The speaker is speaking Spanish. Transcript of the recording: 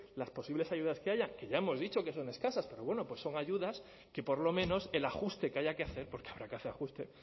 las posibles ayudas que haya que ya hemos dicho que son escasas pero bueno pues son ayudas que por lo menos el ajuste que haya que hacer porque habrá que hacer ajuste